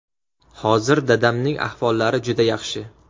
Hozir dadamning ahvollari juda yaxshi.